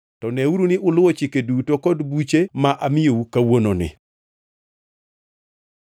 to neuru ni uluwo chike duto kod buche ma amiyou kawuononi.